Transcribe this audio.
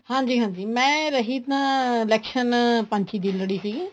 ਹਾਂਜੀ ਹਾਂਜੀ ਮੈਂ ਰਹੀ ਤਾਂ election ਪੰਚੀ ਦੀ ਲੜੀ ਸੀਗੀ